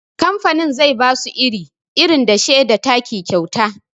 Kamfanin zai basu iri, irin dashe da taki kyauta